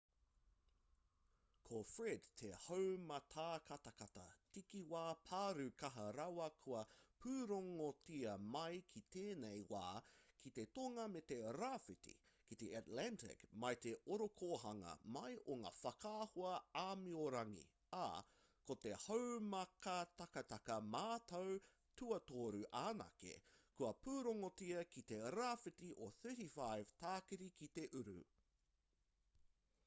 ko fred te haumātakataka takiwā pārū kaha rawa kua pūrongotia mai ki tēnei wā ki te tonga me te rāwhiti ki te atlantic mai i te ōrokohanga mai o ngā whakaahua āmiorangi ā ko te haumātakataka matua tuatoru anake kua pūrongotia ki te rāwhiti o 35 tākiri ki te uru